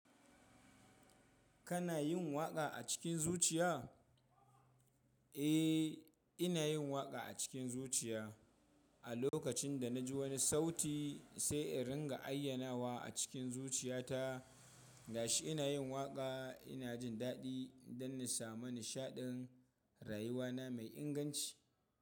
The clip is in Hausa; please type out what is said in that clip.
Kana yin waƙa a cikin zuciya? Eh, ina yin waƙa a cikin zuciya. A lokacin da na ji wani sauti sai in ringa ayyana wa a cikin zuciyata. Gashi ina yin waƙa ina jin daɗi don na samu nishaɗin rayuwana mai inganci.